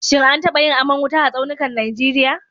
Shin an taba yin aman wuta a tsaunukan Najeriya?